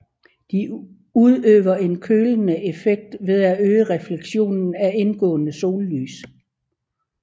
De udøver en kølende effekt ved at øge refleksionen af indgående sollys